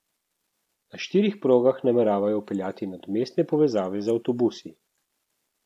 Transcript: Na štirih progah nameravajo vpeljati nadomestne povezave z avtobusi.